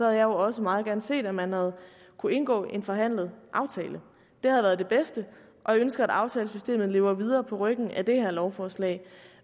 jeg jo også meget gerne set at man havde kunne indgå en forhandlet aftale det havde været det bedste og jeg ønsker at aftalesystemet lever videre på ryggen af det her lovforslag